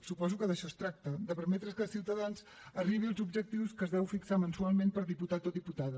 suposo que d’això es tracta de permetre que ciutadans arribi als objectius que es deu fixar mensualment per diputat o diputada